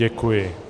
Děkuji.